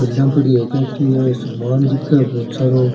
समान दिख बहुत सारो --